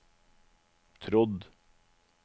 trodd